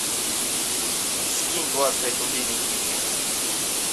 скинь двадцать пять рублей никитке